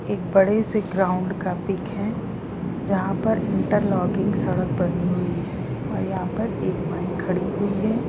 एक बड़े से ग्राउंड का पीक है जहाँ पर इंटर लॉकिंग सड़क बनी हुई है और यहाँ पर एक बाइक खड़ी हुई है।